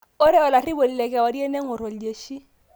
Ore olarriponi lekewarie neng'orr oljeshi